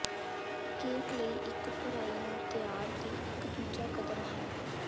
cake ਲਈ ਇੱਕ ਭਰਾਈ ਨੂੰ ਤਿਆਰ ਦੀ ਇੱਕ ਦੂਜਾ ਕਦਮ ਹੈ